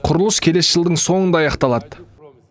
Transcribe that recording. құрылыс келесі жылдың соңында аяқталады